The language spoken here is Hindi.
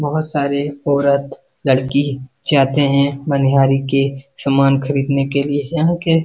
बहोत सारे औरत लड़की जाते हैं मनीहारी के सामान खरीदने के लिए यहां के --